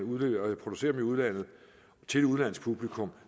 producerer dem i udlandet til et udenlandsk publikum